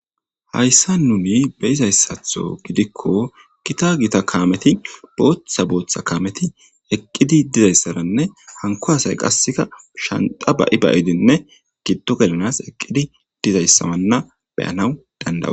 Hayssa nuni beyizayssatho gidikko kita gita kaameti booththa booththa kaameti eqqidi dizayssaranne hanko hasay qasseka shanta ba'i bayidinne giddo gelanas eqqidi dizayssawanna beyanaw dandawu.